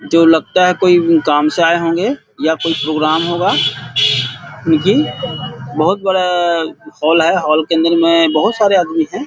जो लगता है कोई काम से आए होंगे या कोई प्रोग्राम होगा बहुत बड़ा हॉल है हॉल के अंदर में बहुत सारे आदमी हैं।